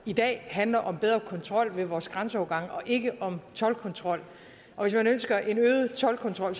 i dag handler om bedre kontrol ved vores grænseovergange og ikke om toldkontrol og hvis man ønsker en øget toldkontrol